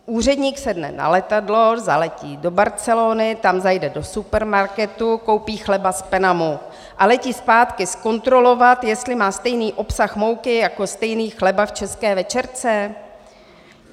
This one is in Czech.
Úředník sedne na letadlo, zaletí do Barcelony, tam zajde do supermarketu, koupí chleba z Penamu a letí zpátky zkontrolovat, jestli má stejný obsah mouky jako stejný chleba v české večerce?